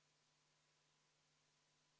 Protseduuriline küsimus, Helir-Valdor Seeder, palun!